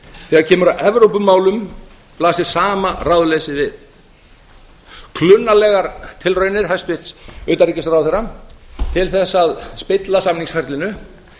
þegar kemur að evrópumálum blasir sama ráðleysið við klunnalegar tilraunir hæstvirts utanríkisráðherra til þess að spilla samningsferlinu